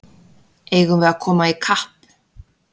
Eigum við að koma í kapp!